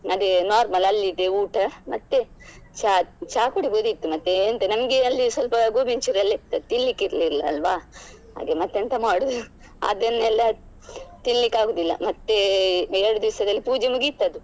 ಅದೇ normal ಅಲ್ಲಿದೇ ಊಟ ಮತ್ತೆ ಚಾ ಚಾ ಕುಡಿಬೋದಿತ್ತು ಮತ್ತೆ ಎಂತ ನಮ್ಗೆ ಅಲ್ಲಿ ಸ್ವಲ್ಪ Gobi Manchuri ಎಲ್ಲ ಇತ್ತು ತಿನ್ಲಿಕ್ಕೆ ಇರ್ಲಿಲ್ಲಲ್ವಾ ಹಾಗೆ ಮತ್ತೆಂತ ಮಾಡುದು ಅದನ್ನೆಲ್ಲ ತಿನ್ಲಿಕ್ಕೆ ಆಗುದಿಲ್ಲ ಮತ್ತೆ ಎರಡ್ ದಿವ್ಸದಲ್ಲಿ ಪೂಜೆ ಮುಗಿತದು.